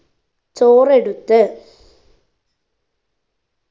ചോറെടുത്ത്